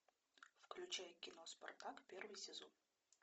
включай кино спартак первый сезон